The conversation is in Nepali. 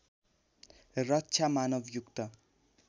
रक्षा मानव युक्त